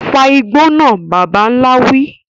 Fa igbó náà, bàbà ńlá wí.